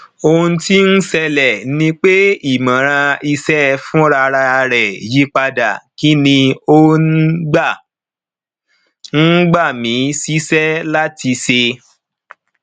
ohun ti n ṣẹlẹ ni pe imọran iṣẹ funrararẹ yipada kí ni ò ń gbà ń gbà mí síṣẹ láti ṣe